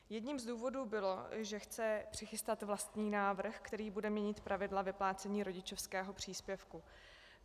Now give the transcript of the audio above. Jedním z důvodů bylo, že chce přichystat vlastní návrh, který bude mít pravidla vyplácení rodičovského příspěvku.